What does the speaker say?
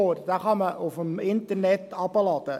Diesen kann man aus dem Internet herunterladen.